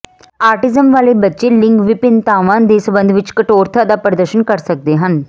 autism ਵਾਲੇ ਬੱਚੇ ਲਿੰਗ ਵਿਭਿੰਨਤਾਵਾਂ ਦੇ ਸਬੰਧ ਵਿੱਚ ਕਠੋਰਤਾ ਦਾ ਪ੍ਰਦਰਸ਼ਨ ਕਰ ਸਕਦੇ ਹਨ